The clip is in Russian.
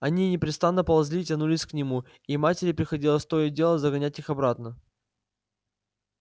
они непрестанно ползли и тянулись к нему и матери приходилось то и дело загонять их обратно